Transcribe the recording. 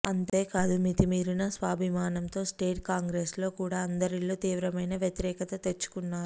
అంతే కాదు మితిమీరిన స్వాభిమానంతో స్టేట్ కాంగ్రెస్ లో కూడా అందరిలో తీవ్రమైన వ్యతిరేకత తెచ్చుకున్నారు